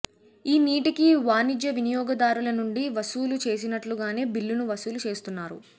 ఈ నీటికి వాణిజ్య వినియోగదారుల నుండి వసూలు చేసినట్లుగానే బిల్లును వసూలు చేస్తున్నారు